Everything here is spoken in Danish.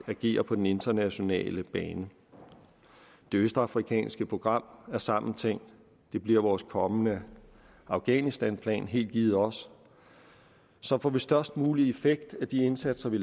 agerer på den internationale bane det østafrikanske program er samtænkt og det bliver vores kommende afghanistanplan helt givet også så får vi størst mulig effekt af de indsatser vi